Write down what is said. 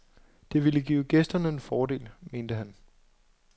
Det ville give gæsterne en fordel, mente han.